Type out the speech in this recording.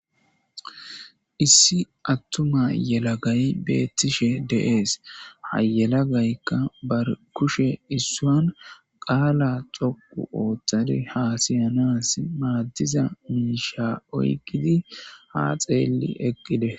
Issi attuma yelagayi beetishe de'esi. Ha yelagaykka ba kushe issuwan qaala dhoqqu othade haasayanayis maadiza miisha oyqqidi ha xeelishe de'essi.